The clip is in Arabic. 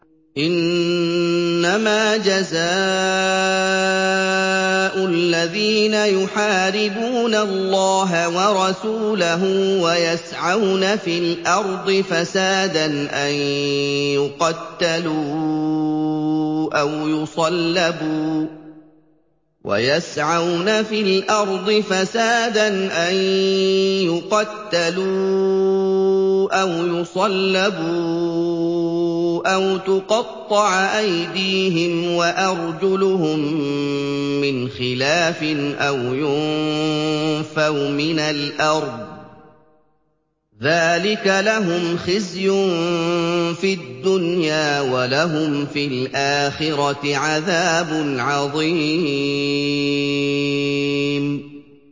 إِنَّمَا جَزَاءُ الَّذِينَ يُحَارِبُونَ اللَّهَ وَرَسُولَهُ وَيَسْعَوْنَ فِي الْأَرْضِ فَسَادًا أَن يُقَتَّلُوا أَوْ يُصَلَّبُوا أَوْ تُقَطَّعَ أَيْدِيهِمْ وَأَرْجُلُهُم مِّنْ خِلَافٍ أَوْ يُنفَوْا مِنَ الْأَرْضِ ۚ ذَٰلِكَ لَهُمْ خِزْيٌ فِي الدُّنْيَا ۖ وَلَهُمْ فِي الْآخِرَةِ عَذَابٌ عَظِيمٌ